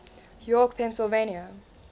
york pennsylvania